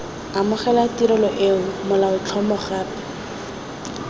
amogela tirelo eo molaotlhomo gape